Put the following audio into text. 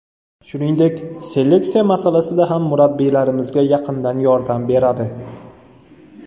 Shuningdek, seleksiya masalasida ham murabbiylarimizga yaqindan yordam beradi.